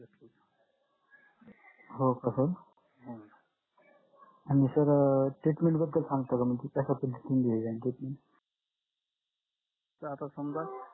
हो का sir आणि sir treatment बद्दल सांगता का